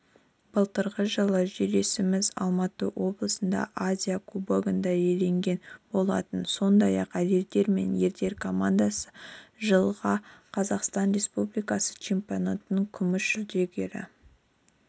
былтырғы жылы жерлестеріміз алматы облысында азия кубогында иеленген болатын сондай-ақ әйелдер мен ерлер командасы жылғы қазақстан республикасы чемпионатының күміс жүлдегері